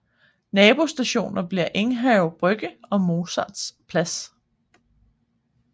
Nabostationer bliver Enghave Brygge og Mozarts Plads